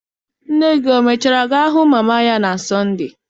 Nne gị o mechara gaa hụ mama ya na Sọnde?